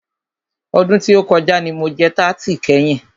Ọdún tí o kọjá ní mo jẹ tarti kẹ́yin.